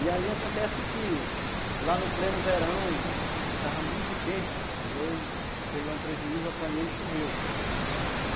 E aí acontece que, lá no pleno verão, estava muito quente e eu fiz lá um prejuízo, apanhei e choveu.